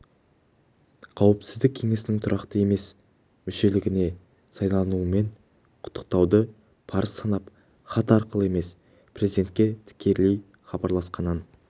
қауіпсіздік кеңесінің тұрақты емес мүшелігіне сайлануымен құттықтауды парыз санап хат арқылы емес президентке тікелей хабарласқанын